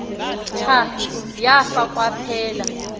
tha yafa kwaphela